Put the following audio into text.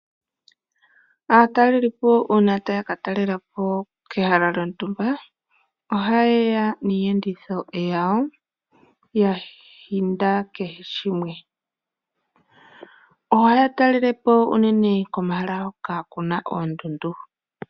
Aatalelipo uuna taya ka talelapo kehala lyontumba oha yeya niiyenditho yawo ya humbata kehe shimwe. Ohaya talelepo unene komahal hoka kuna oondundu.